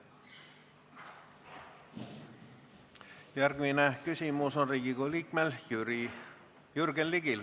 Järgmine küsimus on Riigikogu liikmel Jürgen Ligil.